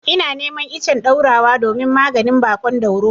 Ina neman icen ɗaurawa domin maganin baƙon dauro.